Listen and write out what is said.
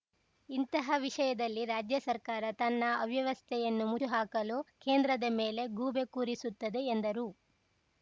ಇಂತಹ ವಿಷಯದಲ್ಲಿ ರಾಜ್ಯಸರ್ಕಾರ ತನ್ನ ಅವ್ಯವಸ್ಥೆಯನ್ನು ಮುಚ್ಚಿ ಹಾಕಲು ಕೇಂದ್ರದ ಮೇಲೆ ಗೂಬೆ ಕೂರಿಸುತ್ತದೆ ಎಂದರು